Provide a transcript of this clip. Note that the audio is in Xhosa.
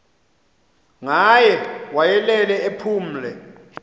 ngaye wayelele ephumle